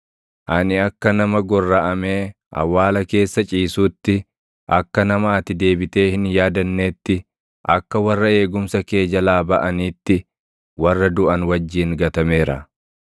Ani akka nama gorraʼamee awwaala keessa ciisuutti, akka nama ati deebitee hin yaadanneetti, akka warra eegumsa kee jalaa baʼaniitti, warra duʼan wajjin gatameera.